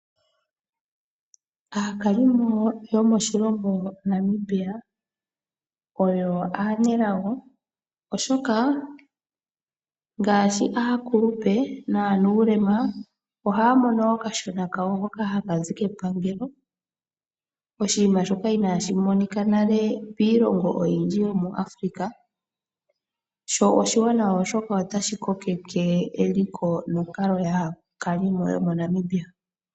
Aakalimo yomoshilongo Namibia aanelago ngaashi aakulupe naanuulema, oshoka ohaya mono okashona kawo hoka haka zi kepangelo. Oshinima shoka inaashi monika mo nale miilongo oyindji yomuAfrika sho oshiwanawa, oshoka otashi kokeke eliko nonkalo yaantu yomoNamibia.